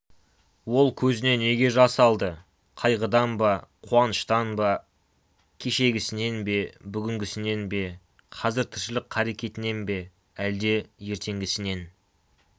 ол көзіне неге жас алды қайғыдан ба қуаныштан ба кешегісінен бе бүгінгісінен бе қазіргі тіршілік қаракетінен бе әлде ертеңгісінен